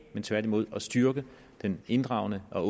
men tværtimod at styrke den inddragende og